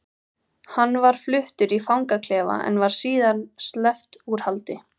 Hann var fluttur í fangaklefa en var síðar sleppt úr haldi.